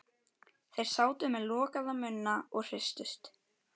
Þeir sátu með lokaða munna og hristust.